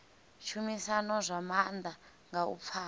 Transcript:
tshumisano zwa maanḓa nga u pfana